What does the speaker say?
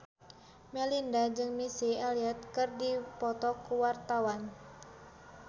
Melinda jeung Missy Elliott keur dipoto ku wartawan